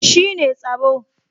Shi ne tsaro